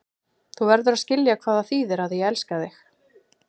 Þú verður að skilja hvað það þýðir að ég elska þig.